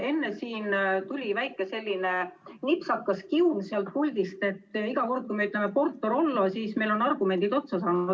Enne siin tuli väike selline nipsakas kiun sealt puldist, et iga kord, kui me ütleme Porto‑Rollo, on meil argumendid otsa saanud.